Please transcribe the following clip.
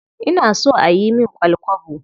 Ina so a yi min ƙwal-kwabo.